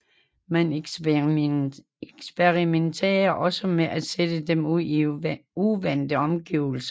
Man eksperimenterede også med at sætte dem ud i uvante omgivelser